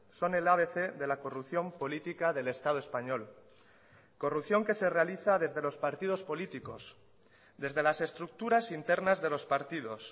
son el abc de la corrupción política del estado español corrupción que se realiza desde los partidos políticos desde las estructuras internas de los partidos